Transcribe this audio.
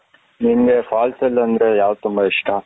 ನಿನಗೆ falls ಅಲ್ಲಿ ಅಂದರೆ ಯಾವುದು ತುಂಬಾ ಇಷ್ಟ